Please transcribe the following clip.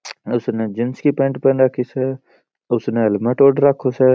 इसने जीन्स की पैंट पहनी राखी स उसने हेलमेट ओढ़ रखा स।